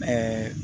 Ɛɛ